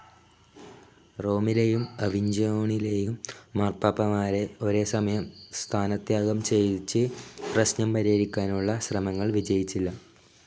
റോമിലേയും അവിഞ്ചോണിലേയും മാർപ്പാപ്പമാരെ ഒരേസമയം സ്ഥാനത്യാഗം ചെയ്യിച്ച് പ്രശ്നം പരിഹരിക്കാനുള്ള ശ്രമങ്ങൾ വിജയിച്ചില്ല.